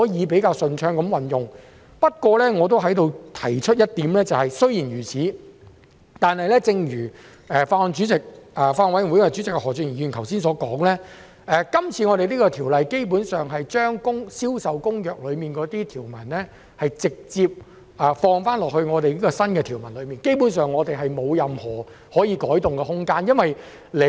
不過，我亦在此提出一點，雖然如此，但正如法案委員會主席何俊賢議員剛才所說，今次《條例草案》是將《銷售公約》的條文直接納入新條文內，基本上我們沒有任何可以改動的空間。